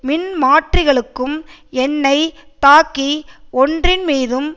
மின்மாற்றிகளுக்கும் எண்ணெய் தாக்கி ஒன்றின் மீதும்